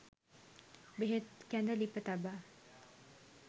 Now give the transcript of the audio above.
බෙහෙත් කැඳ ලිප තබා